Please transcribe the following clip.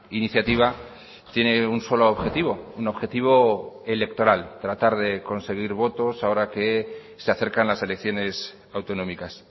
iniciativa tiene un solo objetivo un objetivo electoral tratar de conseguir votos ahora que se acercan las elecciones autonómicas